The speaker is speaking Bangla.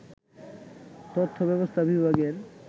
তথ্য ব্যবস্থা বিভাগের